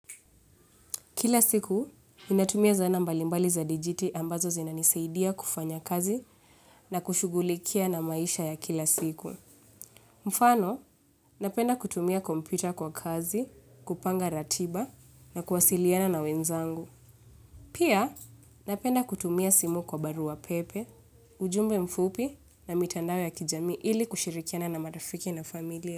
Kila siku ninatumia zana mbalimbali za dijiti ambazo zinanisaidia kufanya kazi na kushughulikia na maisha ya kila siku. Mfano napenda kutumia kompyuta kwa kazi kupanga ratiba na kuwasiliana na wenzangu. Pia napenda kutumia simu kwa barua pepe ujumbe mfupi na mitandao ya kijami ili kushirikiana na marafiki na familia.